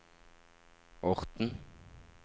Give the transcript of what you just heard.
Orten